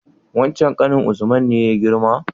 Wancen ƙanin usman ne ya girma?